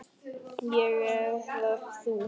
Ég eða þú?